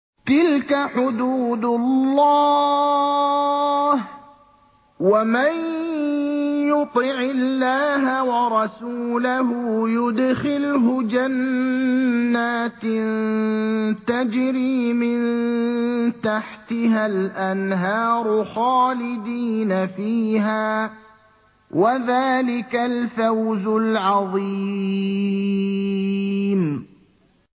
تِلْكَ حُدُودُ اللَّهِ ۚ وَمَن يُطِعِ اللَّهَ وَرَسُولَهُ يُدْخِلْهُ جَنَّاتٍ تَجْرِي مِن تَحْتِهَا الْأَنْهَارُ خَالِدِينَ فِيهَا ۚ وَذَٰلِكَ الْفَوْزُ الْعَظِيمُ